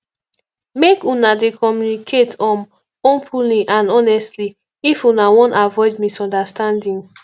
make una dey communicate um openly and honestly if una wan avoid misunderstanding